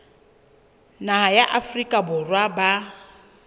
naha ya afrika borwa ba